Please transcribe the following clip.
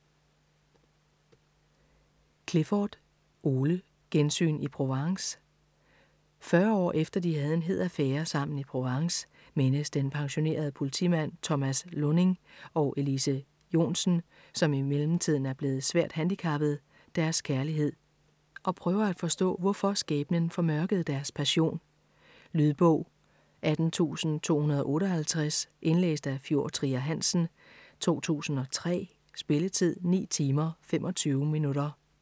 Clifford, Ole: Gensyn i Provence Fyrre år efter de havde en hed affære sammen i Provence, mindes den pensionerede politimand Thomas Lunding og Elise Jonsen, som i mellemtiden er blevet svært handicappet, deres kærlighed, og prøver at forstå hvorfor skæbnen formørkede deres passion. Lydbog 18258 Indlæst af Fjord Trier Hansen, 2003. Spilletid: 9 timer, 25 minutter.